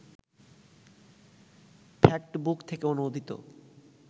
factbook থেকে অনুদিত